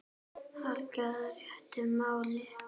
hallar réttu máli.